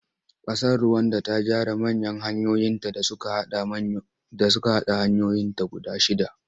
Ƙasar Ruwanda ta gyara manya hanyoyinta da suka haɗa hanyoyinta guda shidda.